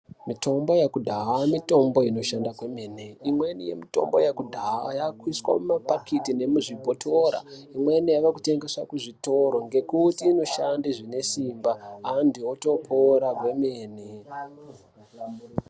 Mitombo yeku dhaya mitombo ino shanda kwemene imweni ye mitombo yeku dhaya yakusiswa muma bhakiti ne muzvi bhotora imweni yaku tengeswa ku zvitoro nekuti inoshande zvine simba antu woto pora kwe mene.